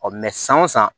san wo san